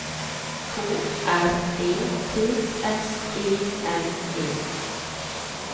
K R E T S E N E